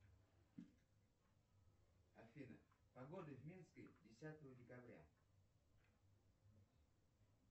афина погода в минске десятого декабря